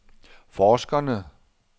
forskerne